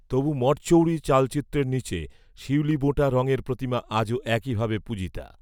তবু মঠচৌরি চালচিত্রের নীচে, শিউলিবোঁটা রঙের প্রতিমা আজও একই ভাবে পূজিতা